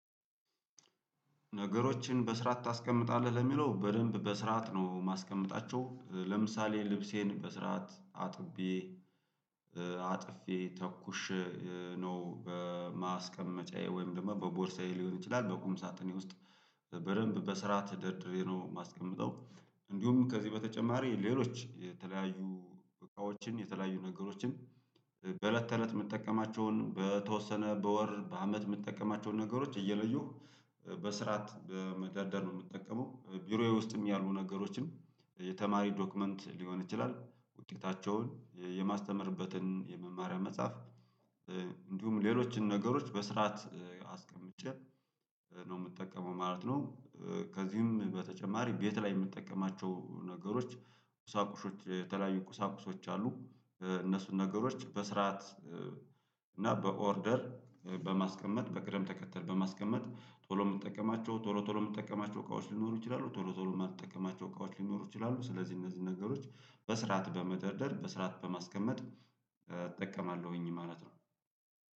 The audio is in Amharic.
ነገሮችን በስራት ታስቀምጣለህ ለሚለው በደንብ በስራት ነው ማስቀመጣቸው ለምሳሌ ልብሴን በስርዓት አጥቤ አጥፌ ተኩሽ ነው በማስቀመጫዬ ወይም ደግሞ በቦርሳዬ ሊሆን ይችላ፤ በቁም ሳጥኔ ውስጥ በደንብ በስራት ደርድሬ ነው የማስቀምጠው፤ እንዲሁም ከዚህ በተጨማሪ ሌሎች የተለያዩ እቃዎችን የተለያዩ ነገሮችን በእለት ተእለት የምትጠቀማቸውን በተወሰነ በወር በአመት የምትጠቀማቸውን ነገሮች እየለዩህ በስርዓት መዳደር ነው የምትጠቀመው ቢሮዬ ውስጥም ያሉ ነገሮችን የተማሪ ዶክመንት ሊሆን ይችላል ውጤታቸውን የማስተምርበትን የመማሪያ መጻፍ እንዲሁም ሌሎችን ነገሮች በስርዓት አስቀምጬ ነው የምጠቀመው ማለት ነው ከዚህም በተጨማሪ ቤት ላይ የምንጠቀማቸው ነገሮች ቁሳቁሾች የተለያዩ ቁሳቁሶች አሉ፤ እነሱን ነገሮች በስርዓት እና በኦርደር በማስቀመጥ በቅደም ተከተል በማስቀመጥ ቶሎ የምንጠቀማቸው ቶሎ ቶሎ የምንጠቀማቸው እቃዎች ሊኖሩ ይችላሉ ቶሎ ቶሎ የማትጠቀማቸው እቃዎች ሊኖሩ ይችላሉ ስለዚህ እነዚህ ነገሮች በስርዓት በመደርደር በስርዓት በማስቀመጥ እጠቀማለሁኝ ማለት ነው።